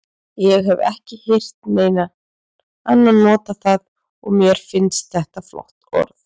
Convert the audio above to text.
Ég hef ekki heyrt neinn annan nota það og mér finnst þetta flott orð.